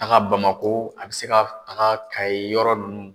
A ka Bamakɔ a bɛ se ka taga kaye yɔrɔ ninnu.